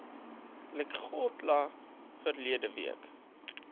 lekgotla verlede week